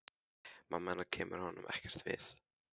Mamma hennar kemur honum ekkert við.